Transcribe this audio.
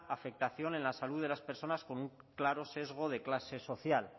afectación en la salud de las personas con un claro sesgo de clase social